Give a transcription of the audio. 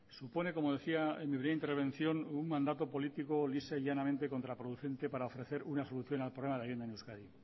supone como decía en mi primera intervención un mandato político lisa y llanamente contraproducente para ofrecer una solución al problema de la vivienda en euskadi